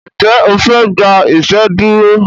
Njé ofe gbà iṣeduro?